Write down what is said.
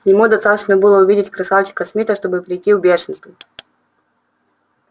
ему достаточно было увидеть красавчика смита чтобы прийти в бешенство